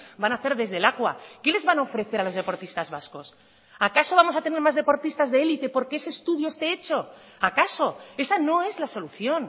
van a hacer desde lakua qué les van a ofrecer a los deportistas vascos acaso vamos a tener más deportistas de elite porque ese estudio esté hecho acaso esa no es la solución